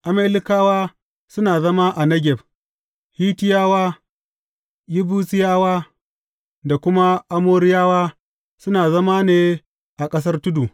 Amalekawa suna zama a Negeb; Hittiyawa, Yebusiyawa da kuma Amoriyawa, suna zama ne a ƙasar tudu.